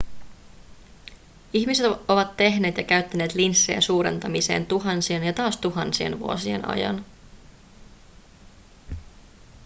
ihmiset ovat tehneet ja käyttäneet linssejä suurentamiseen tuhansien ja taas tuhansien vuosien ajan